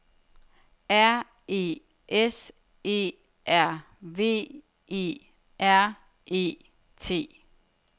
R E S E R V E R E T